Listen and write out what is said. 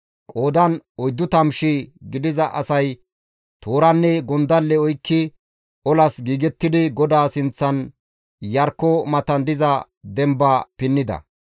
Qoodan 40,000 gidiza asay tooranne gondalle oykki olas giigettidi GODAA sinththan Iyarkko matan diza demba pinnida.